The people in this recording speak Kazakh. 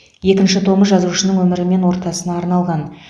екінші томы жазушының өмірі мен ортасына арналған